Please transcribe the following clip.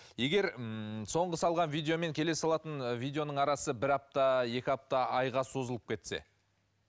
егер ммм соңғы салған видео мен келесі салатын ы видеоның арасы бір апта екі апта айға созылып кетсе